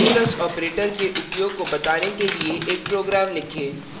modulus modulus operator के उपयोग को बताने के लिए एक program लिखें